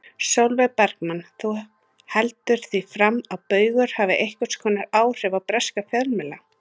Sólveig Bergmann: Þú heldur því fram að Baugur hafi einhvers konar áhrif á breska fjölmiðla?